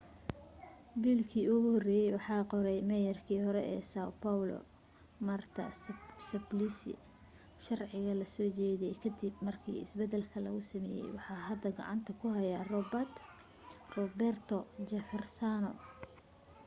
biilkii ugu horeye waxaa qoray meyarkii hore sao paulo marta suplicy sharciga lasoo jeediye kadib markii isbadalka lagu sameye waxaa hadda gacanta ku haya roberto jefferson